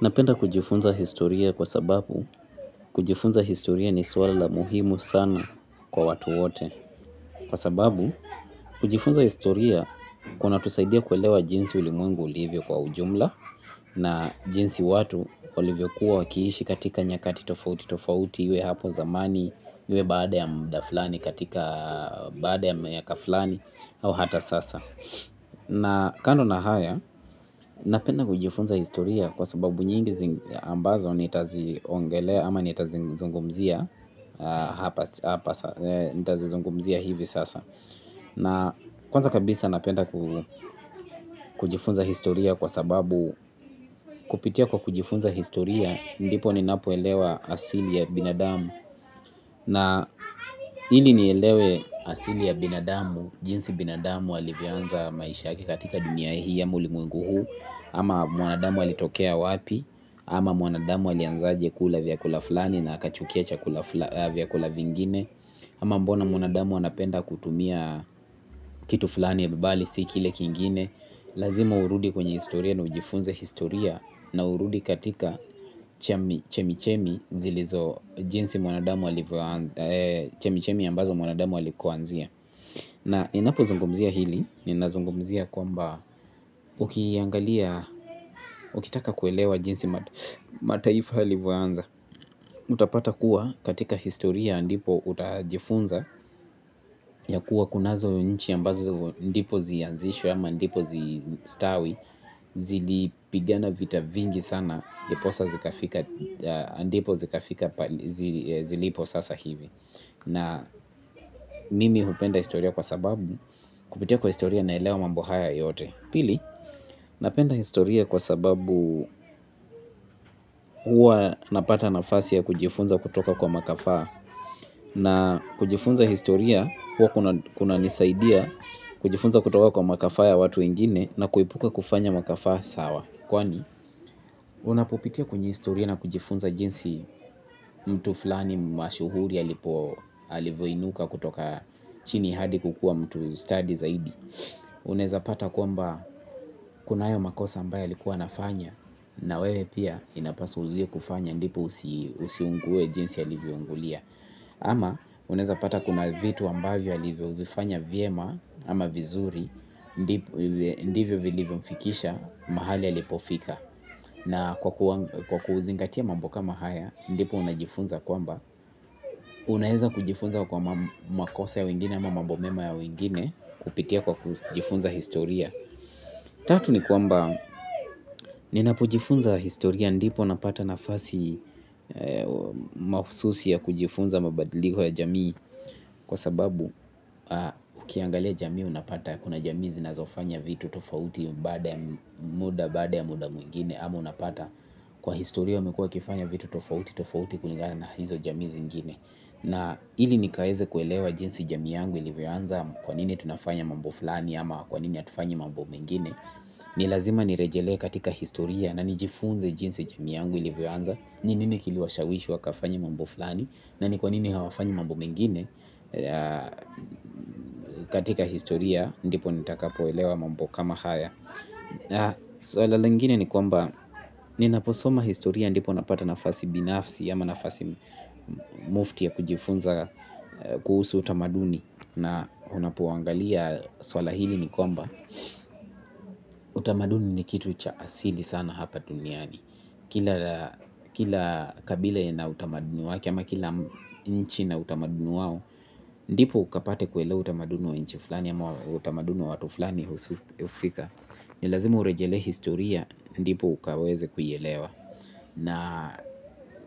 Napenda kujifunza historia kwa sababu kujifunza historia ni suala la umuhimu sana kwa watu wote. Kwa sababu kujifunza historia kunatusaidia kuelewa jinsi ulimwengu ulivyo kwa ujumla na jinsi watu walivyokuwa wakiishi katika nyakati tofauti tofauti iwe hapo zamani iwe baada ya muda fulani katika baada ya miaka fulani au hata sasa. Na kando na haya, napenda kujifunza historia kwa sababu nyingi ambazo nitaziongelea ama nitazizungumzia hivi sasa. Na kwanza kabisa napenda kujifunza historia kwa sababu kupitia kwa kujifunza historia ndipo ninapoelewa asili ya binadamu. Na ili nielewe asili ya binadamu, jinsi binadamu alivyoanza maisha yake katika dunia hii ama ulimwengu huu ama mwanadamu akitokea wapi, ama mwanadamu alianzaje kula vyakula fulani na akachukia chakula vyakula vingine. Ama mbona mwanadamu anapenda kutumia kitu fulani bali si kile kingine. Lazima urudi kwenye historia na ujifunze historia. Na urudi katika chemichemi zilizo jinsi mwanadamu alivyo chemichemi mwanadamu alikoanzia. Na ninapo zungumzia hili ninazungumzia kwamba ukiangalia ukitaka kuelewa jinsi mataifa yalivyoanza utapata kuwa katika historia ndipo utajifunza ya kuwa kunazo nchi ambazo ndipo zianzishwe ama ndipo zistawi, zilipigana vita vingi sana, ndiposa zikafika, ndipo zikafika pahali zilipo sasa hivi na mimi hupenda historia kwa sababu kupitia kwa historia naelewa mambo haya yote. Pili, napenda historia kwa sababu hua napata nafasi ya kujifunza kutoka kwa makafaa na kujifunza historia huwa kunanisaidia kujifunza kutoka kwa makafaa ya watu wengine na kuepuka kufanya makafaa sawa. Kwani, unapopitia kwenye historia na kujifunza jinsi mtu fulani mashuhuri alivyoinuka kutoka chini hadi kukua mtu stadi zaidi. Unaweza pata kwamba, kunayo makosa ambayo alikuwa anafanya na wewe pia inapaswa uzuie kufanya ndipo usiungue jinsi alivyoungulia. Ama unawezapata kuna vitu ambavyo alivyovifanya vyema ama vizuri ndivyo vilivyomfikisha mahali alipofika. Na kwa kuzingatia mambo kama haya ndipo unajifunza kwamba unaweza kujifunza kwa makosa ya wengine ama mambo mema ya wengine kupitia kwa kujifunza historia. Tatu ni kwamba, ninapojifunza historia, ndipo napata nafasi mahususi ya kujifunza mabadiliko ya jamii. Kwa sababu, ukiangalia jamii unapata, kuna jamii zinazofanya vitu tofauti baada ya muda, baada ya muda mwingine ama unapata, kwa historia wamekuwa wakifanya vitu tofauti tofauti kunilingana na hizo jamii zingine. Na ili nikaweze kuelewa jinsi jamii yangu ilivyoanza, kwa nini tunafanya mambo fulani ama kwa nini hatufanyi mambo mengine, ni lazima nirejelee katika historia na nijifunze jinsi jamii yangu ilivyoanza. Ni nini kiliwashawishi wakafanya mambo fulani na ni kwa nini hawafanyi mambo mengine. Katika historia ndipo nitakapoelewa mambo kama haya. Na swala lingine ni kwamba ninaposoma historia ndipo napata nafasi binafsi ama nafasi mufti ya kujifunza kuhusu utamaduni. Na unapoangalia swala hili ni kwamba utamaduni ni kitu cha asili sana hapa duniani kila kila kabila ina utamaduni wake au kila nchi ina utamaduni wao. Ndipo ukapate kuelewa utamaduni wa nchi fulani au utamaduni wa watu fulani husika. Ni lazima urejelea historia ndipo ukaweze kuielewa na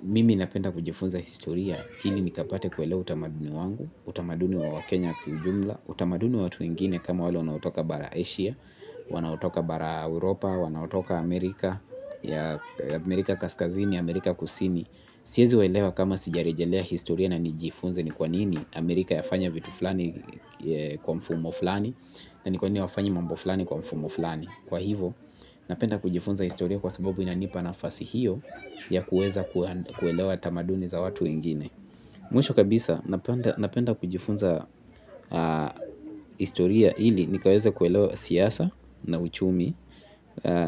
mimi napenda kujifunza historia ili nikapate kuelewa utamaduni wangu, utamaduni wa wakenya kiujumla, utamaduni wa watu wengine kama wale wanaotoka bara Asia Wanautoka bara Uropa, wanaotoka Amerika Amerika Kaskazini, Amerika Kusini. Siwezi waelewa kama sijarejelea historia na nijifunze ni kwa nini Amerika yafanya vitu fulani kwa mfumo fulani. Na ni kwa nini hawayafanyi mambo fulani kwa mfumo fulani. Kwa hivyo, napenda kujifunza historia kwa sababu inanipa nafasi hiyo ya kuweza kuelewa tamaduni za watu wengine. Mwisho kabisa, napenda kujifunza historia ili nikaweze kuelewa siasa na uchumi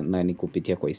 na ni kupitia kwa historia.